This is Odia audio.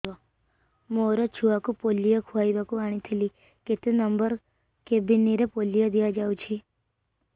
ମୋର ଛୁଆକୁ ପୋଲିଓ ଖୁଆଇବାକୁ ଆଣିଥିଲି କେତେ ନମ୍ବର କେବିନ ରେ ପୋଲିଓ ଦିଆଯାଉଛି